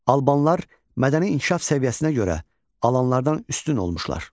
Albanlar mədəni inkişaf səviyyəsinə görə alanlardan üstün olmuşlar.